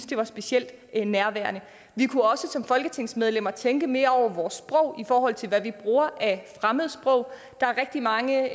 det var specielt nærværende vi kunne også som folketingsmedlemmer tænke mere over vores sprog i forhold til hvad vi bruger af fremmede sprog der er rigtig mange